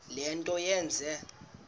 le nto yenze